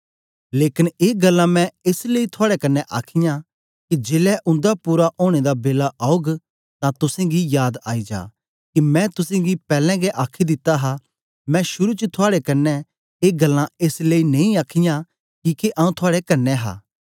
लेकन ए गल्लां मैं एस लेई थुआड़े कन्ने आखीयां के जेलै उन्दा पूरा ओनें दा बेला औग तां तुसेंगी याद आई जा के मैं तुसेंगी पैलैं गै आखी दिता हा मैं शुरू च थुआड़े कन्ने ए गल्लां एस लेई नेई आखीयां किके आऊँ थुआड़े कन्ने हा